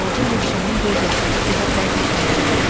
Balaca Mişanın göz yaşları qıza bərk təsir eləyir.